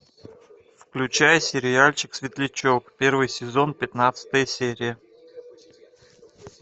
включай сериальчик светлячок первый сезон пятнадцатая серия